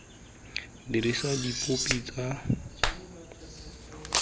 dirisa dipopi tsa dipolelo tse